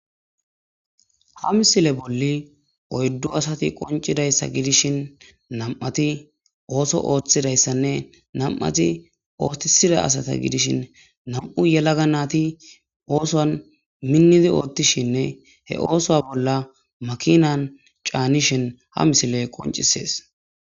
Ha misile bolla oydu asati qoncidaysa gidishin nam'ati ootho othidaysanne nam'ati oothisidaysata gidishin nam'u yelaga nayti oosuwan minidi oothishinne he oosuwa bolla makinan canishin haisiley qoncises